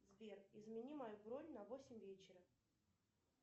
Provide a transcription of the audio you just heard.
сбер измени мою бронь на восемь вечера